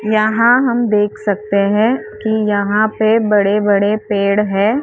यहाँ हम देख सकते हैं कि यहाँ पे बड़े बड़े पेड़ है।